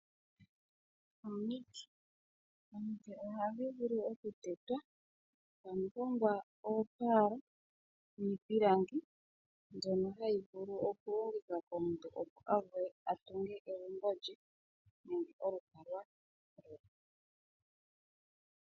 Omiti. Ohadhi vulu oku tetwa, ta mu hongwa oopala niipilangi mbyono hayi vulu oku longithwa opo omuntu avule a tunge egumbo lye nenge olukalwa.